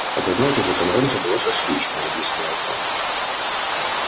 это значит что там раньше была шашлычная объясняет он